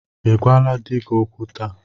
Ị gwala di gị okwu taa?